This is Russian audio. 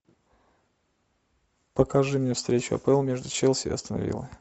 покажи мне встречу апл между челси и астон виллой